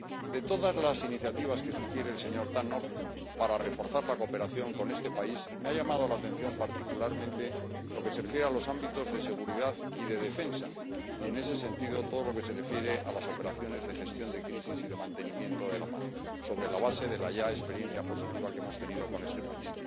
De todas las iniciativas que sugiere el señor Tannock para reforzar la cooperación con este país, me ha llamado la atención particularmente lo que se refiere a los ámbitos de seguridad y de defensa y, en ese sentido, todo lo que se refiere a las operaciones de gestión de crisis y de mantenimiento de la paz, sobre la base de la ya experiencia positiva que hemos tenido con este país.